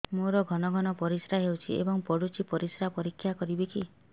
ମୋର ଘନ ଘନ ପରିସ୍ରା ହେଉଛି ଏବଂ ପଡ଼ୁଛି ପରିସ୍ରା ପରୀକ୍ଷା କରିବିକି